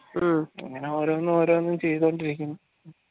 അങ്ങനെ ഓരോന്ന് ഓരോന്ന് ചെയ്തോണ്ടിരിക്കുന്നു